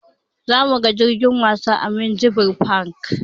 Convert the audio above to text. Zamuga jirgin wasa a minjibir fak